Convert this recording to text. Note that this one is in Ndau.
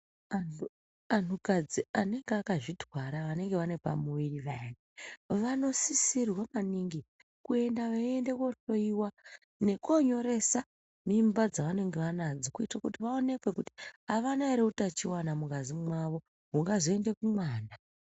Antu kadzi anenge akazvitwara vane pamuviri payani vanosisirwa maningi kuenda veienda kohloiwa nekonyoresa mimba dzavanenge vanadzo kuitira kuti vaonekwe kuti avana ere utachiwana mungazi mawo ungazoenda mumwana.